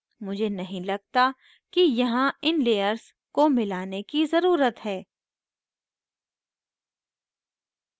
मुझे नहीं लगता कि यहाँ इन layers को मिलाने की ज़रुरत है